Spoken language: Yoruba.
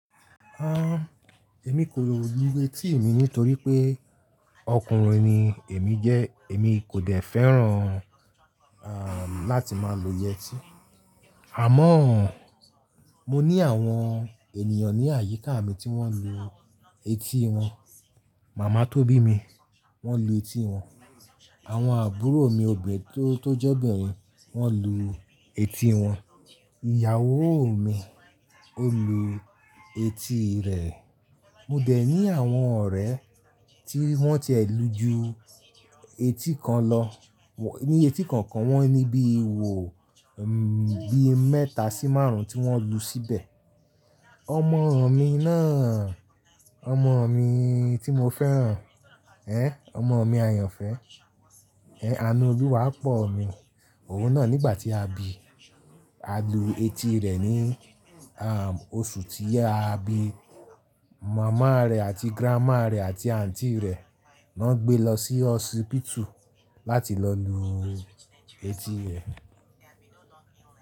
Ah, èmi kò lo ju eti mi nítorí pé ọkùnrin ni èmi jẹ́. Èmi kò dẹ̀ fẹ́ràn, àm, láti máa lo yẹtí. Àmọ́ mo ní àwọn ènìyàn ní àyíká mi tí wọ́n lu etí wọn. Mama tó bí mi, wọ́n lu etí wọn. Àwọn àbúrò mi obìnrin tó, tó jẹ́ obìnrin, wọ́n lu etí wọn. Ìyàwó mi ó lu etí rẹ̀. Mo dẹ̀ ní àwọn ọ̀rẹ́ tí wọ́n tiẹ̀ lù ju etí kan lọ. Wọ́n, ní etí kọ̀ọ̀kan wọ́n ní bí i wò, bí i mẹ́ta sí márùn-ún tí wọ́n lu síbẹ̀. Ọmọ mi náà, ọmọ mi tí mo fẹ́ràn. Ẹ̃! Ọmọ mi ayànfẹ́. Ẹ̃! Àánú Oluwá pọ̀ mi. Òun náà nígbà tí a bi, a lu etí rẹ̀ ní, àm, oṣù tí a bi. Mama rẹ̀ àti grandma rẹ̀ àti Aunty rẹ̀ won gbé e lọ sí hospital láti lọ lu etí rẹ̀